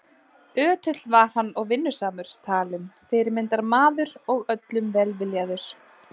Ötull var hann og vinnusamur talinn fyrirmyndarmaður og öllum velviljaður.